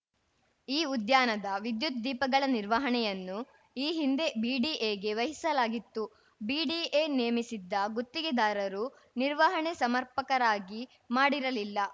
ಈ ಉದ್ಯಾನದ ವಿದ್ಯುತ್‌ ದೀಪಗಳ ನಿರ್ವಹಣೆಯನ್ನು ಈ ಹಿಂದೆ ಬಿಡಿಎಗೆ ವಹಿಸಲಾಗಿತ್ತು ಬಿಡಿಎ ನೇಮಿಸಿದ್ದ ಗುತ್ತಿಗೆದಾರರು ನಿರ್ವಹಣೆ ಸಮರ್ಪಕರಾಗಿ ಮಾಡಿರಲಿಲ್ಲ